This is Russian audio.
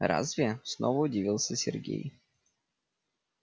разве снова удивился сергей